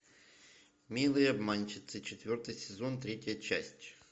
милые обманщицы четвертый сезон третья часть